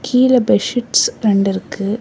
கீழ bed sheets ரெண்டு இருக்கு.